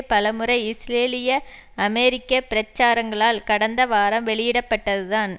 பலமுறை இஸ்ரேலிய அமெரிக்க பிரச்சாரங்களால் கடந்த வாரம் வெளியிடப்பட்டதுதான்